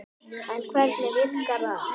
En hvernig virkar það?